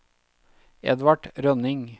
Edvard Rønning